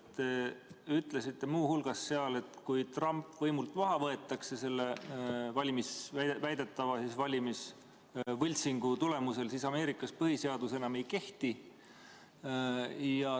Te ütlesite seal muu hulgas, et kui Trump võimult maha võetakse selle väidetava valimisvõltsingu tulemusel, siis Ameerikas põhiseadus enam ei kehti.